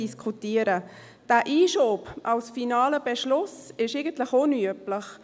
Dieser Einschub ist als finaler Beschluss eigentlich unüblich.